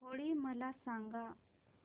होळी मला सांगा